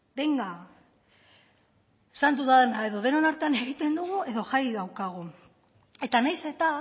benga esan dudana edo denon artean egiten dugu edo jai daukagu eta naiz eta